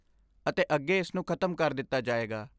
ਅਤੇ ਅੱਗੇ ਇਸ ਨੂੰ ਖਤਮ ਕਰ ਦਿੱਤਾ ਜਾਏਗਾ।